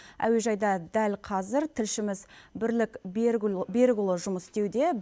әуежайда дәл қазір тілшіміз бірлік берікұлы жұмыс істеуде